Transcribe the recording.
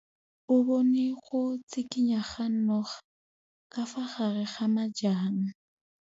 O bone go tshikinya ga noga ka fa gare ga majang.